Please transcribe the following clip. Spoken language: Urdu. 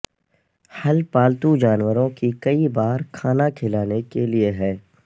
حل پالتو جانوروں کی کئی بار کھانا کھلانے کے لئے ہے